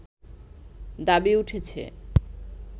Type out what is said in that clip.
দাবি উঠেছে